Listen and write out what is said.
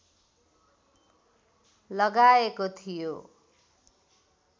लगाएको थियो